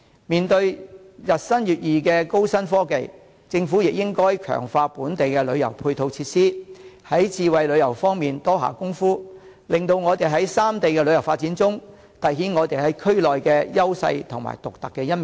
面對日新月異的高新科技，政府亦應該強化本地的旅遊配套設施，在智慧旅遊方面多下工夫，令本港在三地的旅遊發展中，凸顯我們在區內的優勢和獨特的一面。